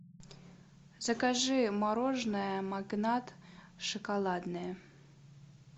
закажи мороженое магнат шоколадное